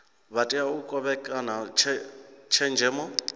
vha tea u kovhekana tshenzhemo